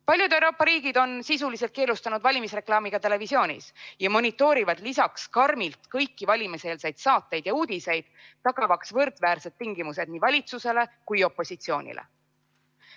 Paljud Euroopa riigid on sisuliselt keelustanud valimisreklaami ka televisioonis ja monitoorivad lisaks karmilt kõiki valimiseelseid saateid ja uudiseid, tagamaks võrdväärsed tingimused nii valitsusele kui ka opositsioonile.